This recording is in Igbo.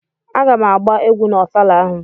A ga m agba egwu na ofala ahụ.